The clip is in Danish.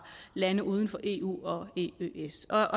lande uden for eu og eøs når